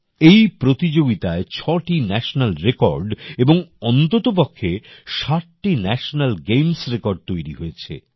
এই প্রতিযোগিতায় ছটি ন্যাটিনাল রেকর্ড এবং অন্ততপক্ষে ৬০টি ন্যাশনাল গেমস রেকর্ড তৈরী হয়েছে